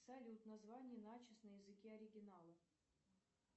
салют название начос на языке оригинала